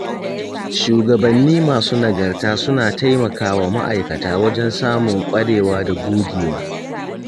shugabanni masu nagarta suna taimakawa ma'aikata wajen samun ƙwarewa da gogewa.